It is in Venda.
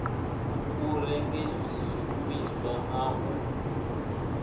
u renge zwishumisa na u